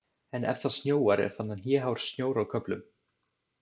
En ef það snjóar er þarna hnéhár snjór á köflum.